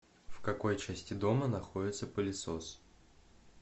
в какой части дома находится пылесос